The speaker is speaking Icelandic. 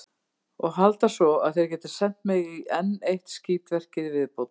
Og halda svo, að þeir geti sent mig í enn eitt skítverkið í viðbót.